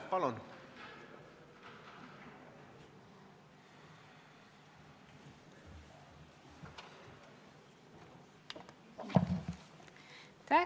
Palun!